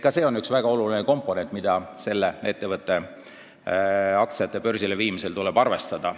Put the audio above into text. Ka see on üks väga olulisi komponente, mida selle ettevõtte aktsiate börsile viimisel tuleb arvestada.